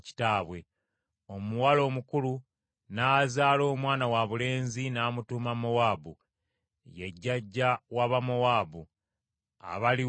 Omuwala omukulu n’azaala omwana wabulenzi n’amutuuma Mowaabu, ye jjajja w’Abamowaabu abaliwo kaakano.